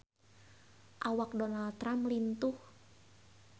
Awak Donald Trump lintuh